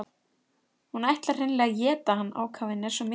Hún ætlar hreinlega að éta hann, ákafinn er svo mikill.